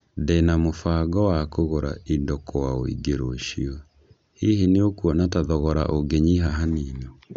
Ndĩ na na mũbago wa kũgũra indo kwa ũingĩ rũciũ, hihi nĩ ũkuona ta thogora ũngĩnyĩha hanini?